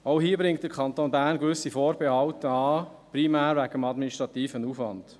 Auch hier bringt der Kanton Bern gewisse Vorbehalte an, primär aufgrund des administrativen Aufwands.